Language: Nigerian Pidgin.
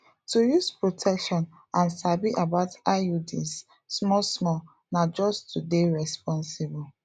to use protection and sabi about iuds small small na just to dey responsible